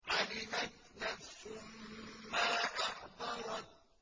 عَلِمَتْ نَفْسٌ مَّا أَحْضَرَتْ